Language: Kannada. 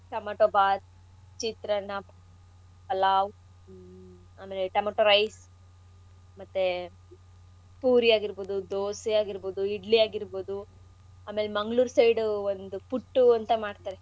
ಟೊಮೆಟೊ ಬಾತ್, ಚಿತ್ರಾನ್ನ, ಪಲಾವು ಆಮೇಲೆ ಟೊಮೆಟೊ rice ಮತ್ತೇ ಪೂರಿ ಆಗಿರ್ಬೋದು, ದೋಸೆ ಆಗಿರ್ಬೋದು, ಇಡ್ಲಿ ಆಗಿರ್ಬೋದು ಆಮೇಲ್ ಮಂಗಳೂರ್ side ದು ಒಂದು ಪುಟ್ಟು ಅಂತ ಮಾಡ್ತರೆ,